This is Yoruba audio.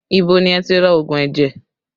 Ibo ni ẹ ti ra òògùn ẹ̀jẹ̀?